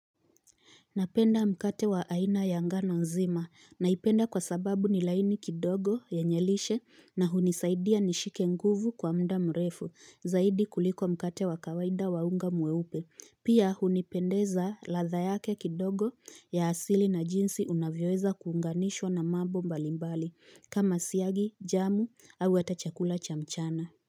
Napenda mkate wa aina ya ngano nzima naipenda kwa sababu ni laini kidogo yenye lishe na hunisaidia nishike nguvu kwa muda mrefu zaidi kuliko mkate wa kawaida wa unga mweupe. Pia hunipendeza ladha yake kidogo ya asili na jinsi unavyoeza kuunganishwa na mambo mbalimbali kama siagi, jamu au hata chakula cha mchana.